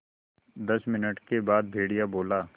दस मिनट के बाद भेड़िया बोला